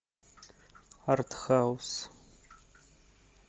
артхаус